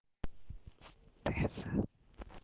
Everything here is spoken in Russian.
пицца